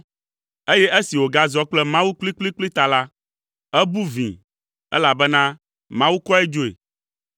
eye esi wògazɔ kple Mawu kplikplikpli ta la, ebu vĩi, elabena Mawu kɔe dzoe.